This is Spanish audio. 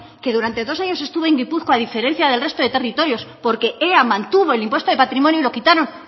que durante dos años estuvo en gipuzkoa a diferencia del resto de territorios porque ea mantuvo el impuesto de patrimonio y lo quitaron